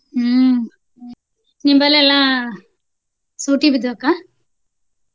ಹ್ಮ ನಿಂಬಲ್ಲಿ ಎಲ್ಲ ಸೂಟಿ ಬಿದ್ದು ಅಕ್ಕ?